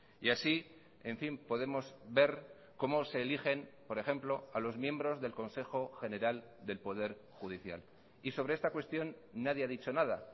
y así en fin podemos ver cómo se eligen por ejemplo a los miembros del consejo general del poder judicial y sobre esta cuestión nadie ha dicho nada